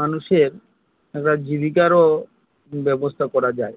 মানুষের একটা জীবিকার ও ব্যবস্থা করা যায়